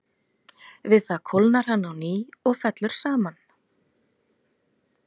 Við það kólnar hann á ný og fellur saman.